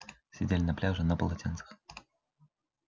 сидели на пляже на полотенцах